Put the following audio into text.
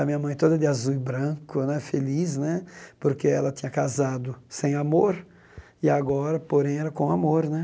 A minha mãe toda de azul e branco né, feliz né, porque ela tinha casado sem amor, e agora, porém, era com amor né.